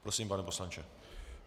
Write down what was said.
Prosím, pane poslanče.